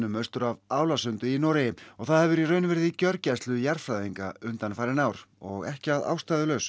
austur af og það hefur í raun verið í gjörgæslu jarðfræðinga undanfarin ár og ekki að ástæðulausu